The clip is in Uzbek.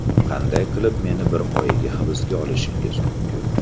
Qanday qilib meni bir oyga hibsga olishingiz mumkin?